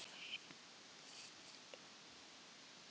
Höskuldur Kári: Og hefur það líka aukist?